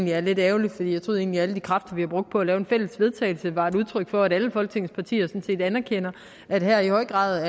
jeg er lidt ærgerligt for jeg troede egentlig at alle de kræfter vi har brugt på at lave et fælles vedtagelse var et udtryk for at alle folketingets partier sådan set anerkender at det her i høj grad